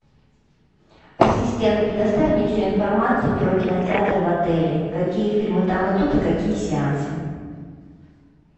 ассистент предоставь мне всю информацию про кинотеатр в отеле какие фильмы там идут и какие сеансы